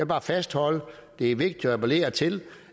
bare fastholde at det er vigtigt at appellere til